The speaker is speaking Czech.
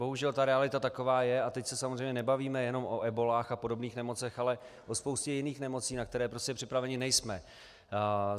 Bohužel ta realita taková je, a teď se samozřejmě nebavíme jenom o ebolách a podobných nemocech, ale o spoustě jiných nemocí, na které prostě připraveni nejsme.